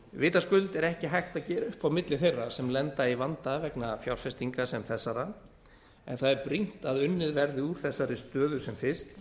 vitaskuld er ekki hægt að gera upp á milli þeirra sem lenda í vanda vegna fjárfestinga sem þessara en það er brýnt að unnið verði úr þessari stöðu sem fyrst